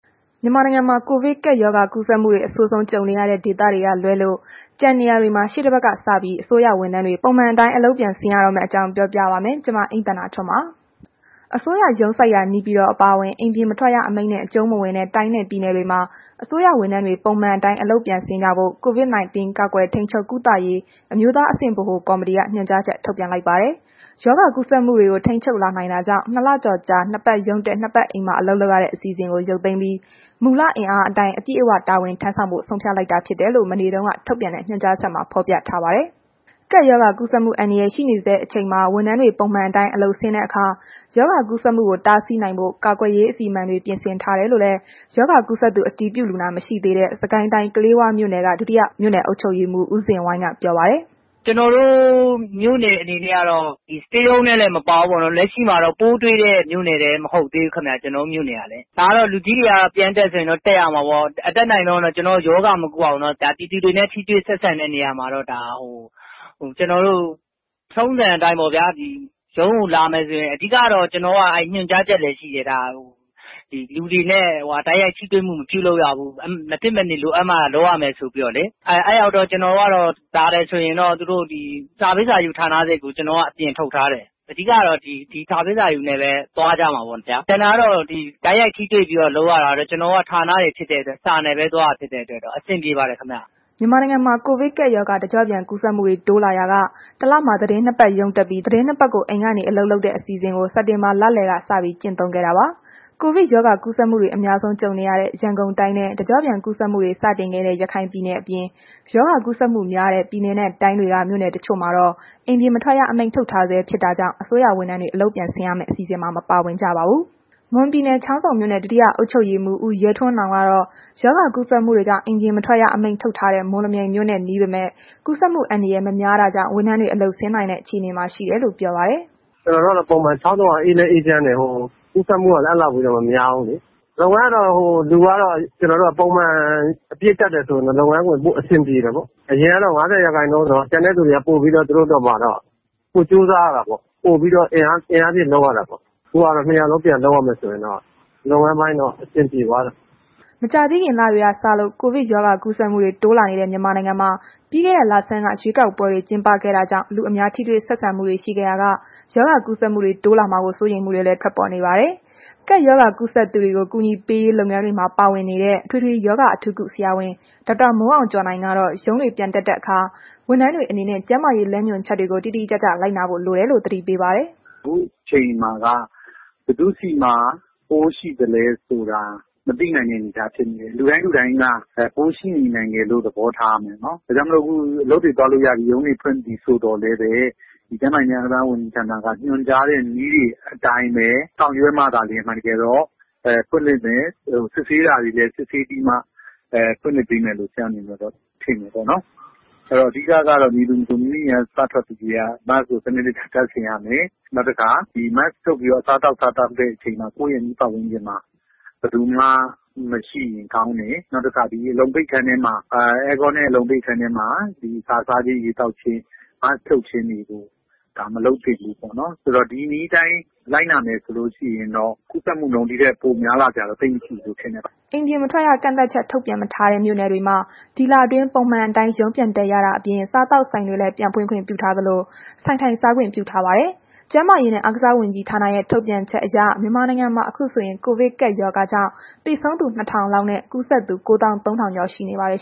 မြန်မာနိုင်ငံမှာ ကိုဗစ်ကပ်ရောဂါ ကူးစက်မှုတွေ အဆိုးဆုံး ကြုံနေရတဲ့ ဒေသတွေကလွဲလို့ ကျန်နေရာတွေမှာ ရှေ့တပတ်ကစပြီး အစိုးရဝန်ထမ်းတွေ ပုံမှန်အတိုင်း အလုပ်ပြန်ဆင်းရတော့မယ့်အကြောင်းကို ဗွီအိုအေမြန်မာပိုင်း သတင်းထောက် မအိမ့်သန္တာထွန်းက ပြောပြပေးပါမယ်။ အစိုးရရုံးစိုက်ရာ နေပြည်တော် အပါအဝင် အိမ်ပြင်မထွက်ရ အမိန့်နဲ့ အကျုံးမဝင်တဲ့ တိုင်းနဲ့ပြည်နယ်တွေမှာ အစိုးရဝန်ထမ်းတွေ ပုံမှန်အတိုင်း အလုပ်ပြန်ဆင်းကြဖို့ COVID 19 ကာကွယ်ထိန်းချုပ် ကုသရေးအမျိုးသားအဆင့် ဗဟိုကော်မတီက ညွှန်ကြားချက် ထုတ်ပြန်လိုက်တာပါ။ ရောဂါကူးစက်မှုတွေကို ထိန်းချုပ်လာနိုင်တာကြောင့် ၂ လကျော်ကြာ နှစ်ပတ်ရုံးတက်၊ နှစ်ပတ် အိမ်မှာ အလုပ်လုပ်ရတဲ့ အစီအစဉ်ကို ရုပ်သိမ်းပြီး မူလအင်အားအတိုင်း အပြည့်အဝ တာဝန်ထမ်းဆောင်ဖို့ ဆုံးဖြတ်လိုက်တာ ဖြစ်ကြောင်းလည်း မနေ့တုန်းက ထုတ်ပြန်တဲ့ ညွှန်ကြားချက်မှာ ဖော်ပြထားပါတယ်။ ကပ်ရောဂါကူးစက်မှု အန္တရာယ် ရှိနေဆဲ အချိန်မှာ ဝန်ထမ်းတွေ ပုံမှန်အတိုင်း အလုပ်ဆင်းတဲ့အခါ ရောဂါကူးစက်မှုကို တားဆီးနိုင်ဖို့ ကာကွယ်ရေး အစီအမံတွေ ပြင်ဆင်ထားတယ်လို့လည်း ရောဂါကူးစက်သူ အတည်ပြုလူနာ မရှိသေးတဲ့ စစ်ကိုင်းတိုင်း၊ ကလေးဝမြို့နယ် ဒုတိယ အုပ်ချုပ်ရေးမှူး ဦးဇင်ဝိုင်းက ပြောပါတယ်။ “ကျနော်တို့ မြို့နယ် အနေနဲ့ကတော့ Stay Home ထဲလည်း မပါဘူး၊ လက်ရှိမှာ ပိုးတွေ့တဲ့မြို့နယ်လည်း မဟုတ်သေးဘူးခင်ဗျ... ကျနော်တို့ မြို့နယ်က။ ဒါက လူကြီးတွေက ပြန်တက်ဆိုရင်တော့ တက်ရမှာပေါ့။ အတတ်နိုင်ဆုံးတော့ ရောဂါမကူးအောင်တော့ ပြည်သူတွေနဲ့ ထိတွေ့ဆက်ဆံတဲ့နေရာမှာတော့ ထုံးစံအတိုင်းပေါ့။ ပြီးတော့ ရုံးကိုလာမယ်ဆိုရင် ညွှန်ကြားချက်လည်းရှိတယ်။ လူတွေနဲ့ တိုက်ရိုက်ထိတွေမှု မပြုလုပ်ရဘူး။ မဖြစ်အနေလိုအပ်မှ လုပ်ရမယ်ဆိုပြီးတော့လေ။ လာတယ်ဆိုရင် စာပေးစာယူ ဌာနစိတ်ကို ကျနော်က အပြင်ထုတ်ထားတယ်။ အဓိကကတော့ ဒီစာပေးစာယူနဲ့ပဲ သွားကြမှာပေါ့ဗျာ။ ကျန်တာတော့ တိုက်ရိုက်ထိတွေ့ပြီးလုပ်ရတာကတော့ ကျနော်တို့က ဌာနတွေဖြစ်တဲ့အတွက် စာနဲ့ပဲသွားတာဖြစ်တဲ့အတွက် အဆင်ပြေပါတယ်ခင်ဗျ။” မြန်မာနိုင်ငံမှာ ကိုဗစ်ကပ်ရောဂါ တကျော့ပြန် ကူးစက်မှုတွေ တိုးလာရာက ၁ လမှာ သီတင်း ၂ ပတ် ရုံးတက်ပြီး၊ သီတင်း ၂ ပတ်ကို အိမ်ကနေ အလုပ်လုပ်တဲ့ အစီအစဉ်ကို စက်တင်ဘာလလယ်က စပြီး ကျင့်သုံးခဲ့တာပါ။ ကိုဗစ်ရောဂါကူးစက်မှုတွေ အများဆုံး ကြုံနေရတဲ့ ရန်ကုန်တိုင်းနဲ့ တကျော့ပြန်ကူးစက်မှုတွေ စတင်ခဲ့တဲ့ ရခိုင်ပြည်နယ် အပြင် ရောဂါကူးစက်မှုများတဲ့ ပြည်နယ်နဲ့တိုင်းတွေက မြို့နယ်တချို့မှာတော့ အိမ်ပြင်မထွက်ရ အမိန့်ထုတ်ထားဆဲ ဖြစ်တာကြောင့် အစိုးရဝန်ထမ်းတွေ အလုပ်ပြန်ဆင်းရမယ့် အစီအစဉ်မှာ မပါဝင်ကြပါဘူး။ မွန်ပြည်နယ် ချောင်းဆုံမြို့နယ် ဒုတိယအုပ်ချုပ်ရေးမှူး ဦးရဲထွန်းနောင်ကတော့ ရောဂါကူးစက်မှုတွေကြောင့် အိမ်ပြင်မထွက်ရ အမိန့်ထုတ်ထားတဲ့ မော်လမြိုင်မြို့နဲ့ နီးပေမဲ့ ကူးစက်မှုအန္တရာယ် မများတာကြောင့် ဝန်ထမ်းတွေ အလုပ်ဆင်းနိုင်တဲ့ အခြေအနေမှာ ရှိတယ်လို့ ပြောပါတယ်။ “ကျနော်တို့ကတော့ ပုံမှန် ချောင်းဆုံကတော့ အေးလည်းအေးချမ်းတယ်။ ကူးစက်မှုကလည်း အဲ့ဒီလောက်ထိလည်း မများဘူးလေ။ လုပ်ငန်းကတော့ လူကတော့ ပုံမှန် အပြည့်တက်တယ်ဆိုရင်တော့ လုပ်ငန်းက ပိုအဆင်ပြေတာပေါ့။ အရင်တုန်းက ၅၀ ရာခိုင်နှုန်းဆိုတော့ ကျန်တဲ့သူတွေက သူတို့အတွက်ပါ ပိုကြိုးစားရတာပေါ့။ ပိုအင်အားထည့်လုပ်ရတာပေါ့။ ခုက အားလုံးပြန်လုပ်ရမယ်ဆိုရင်တော့ လုပ်ငန်းပိုင်း အဆင်ပြေသွားတယ်။” မကြာသေးခင်က လတွေ စလို့ ကိုဗစ်ရောဂါကူးစက်မှုတွေ တိုးလာနေတဲ့ မြန်မာနိုင်ငံမှာ ပြီးခဲ့တဲ့လဆန်းက ရွေးကောက်ပွဲတွေ ကျင်းပခဲ့တာကြောင့် လူအများထိတွေ့ဆက်ဆံမှုတွေ ရှိခဲ့ရာက ရောဂါကူးစက်မှုတွေ တိုးလာမှာကို စိုးရိမ်မှုတွေလည်း ထွက်ပေါ်နေတာပါ။ ကပ်ရောဂါကူးစက်သူတွေကို အကူအညီပေးရေး လုပ်ငန်းတွေမှာ ပါဝင်နေတဲ့ အထွေထွေရောဂါ အထူးကု ဆရာဝန် ဒေါက်တာမိုးအောင်ကျော်နိုင်ကတော့ ရုံးပြန်ဆင်းတဲ့အခါ ဝန်ထမ်းတွေအနေနဲ့ ကျန်းမာရေး လမ်းညွှန်ချက်တွေကို တိတိကျကျ လိုက်နာဖို့ လိုတယ်လို့ သတိပေးပါတယ်။ “ခုအချိန်မှာက ဘယ်သူ့ဆီမှာ ပိုးရှိသလဲဆိုတာ မသိနိုင်တဲ့ အနေအထားဖြစ်နေတယ်။ လူတိုင်းလူတိုင်းက ပိုးရှိနေနိုင်တယ်လို့ သဘောထားရမယ်နော်။ ဒါကြောင့်မို့ အခုအလုပ်တွေသွားလို့ရပြီ၊ ရုံးတွေဖွင့်ပြီဆိုသော်လည်းပဲ ကျန်းမာရေးဝန်ကြီးဌာနက ညွှန်ကြားတဲ့ နည်းတွေအတိုင်းပဲ ဆောင်ရွက်မှသာလျှင် အမှန်တကယ်တော့ စစ်ဆေးစရာတွေလည်း စစ်ဆေးပြီးမှ ဖွင့်မယ်လို့တော့ ဆရာအနေနဲ့ ထင်တယ်ပေါ့နော်။ အဲ့ဒီတော့ အဓိကကတော့ မည်သူမဆို မိမိအိမ်က စထွက်ပြီးကတည်းက Mask ကို စနစ်တ ကျတပ်ဆင်ရမယ်။ နောက်တစ်ခါ Mask ချွတ်ပြီးတော့ အစားသောက်စားတဲ့အခါ ကိုယ့်ရဲ့ အနီးပတ်ဝန်းကျင်မှာ ဘယ်သူမှ မရှိရင်ကောင်းတယ်။ နောက်တစ်ခါ အဲကွန်းနဲ့ အလုံပိတ်အခန်းထဲမှာ အစာစားခြင်း၊ ရေသောက်ခြင်းတွေကို Mask ဖြုတ်ခြင်းတွေကို မလုပ်သင့်ဘူးပေါ့နော်။ ဒါဆို ဒီနည်းအတိုင်း လိုက်နာမယ်ဆိုလို့ရှိရင်တော့ ကူးစက်မှုနှုန်း ဒီထက်များလာစရာမရှိပါဘူး။” အိမ်ပြင်မထွက်ရ ကန့်သတ်ချက် ထုတ်ပြန်မထားတဲ့ မြို့နယ်တွေမှာ ဒီလအတွင်း ပုံမှန်အတိုင်းရုံးပြန်တက်ရတာအပြင် စားသောက်ဆိုင်တွေလည်း ပြန်ဖွင့်ခွင့်ပြုထားသလို၊ ဆိုင်ထိုင်စားခွင့်ပြုထားပါတယ်။ ကျန်းမာရေးနဲ့ အားကစားဝန်ကြီးဌာနရဲ့ ထုတ်ပြန်ချက်အရ မြန်မာနိုင်ငံမှာ အခုဆိုရင် ကိုဗစ်ကပ်ရောဂါကြောင့် သေဆုံးသူ ၂,၀၀၀ လောက်နဲ့ ကူးစက်သူ ၉၃,၀၀၀ ကျော်ရှိနေပါတယ်